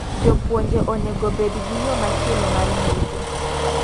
Jopuonje onego obed gi yoo machielo mar yuto.